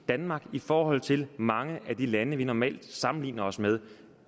danmark i forhold til mange af de lande vi normalt sammenligner os med